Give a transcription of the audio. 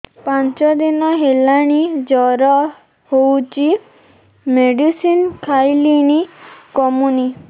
ପାଞ୍ଚ ଦିନ ହେଲାଣି ଜର ହଉଚି ମେଡିସିନ ଖାଇଲିଣି କମୁନି